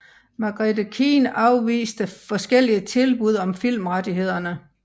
Margaret Keane afviste forskellige tilbud om filmrettighederne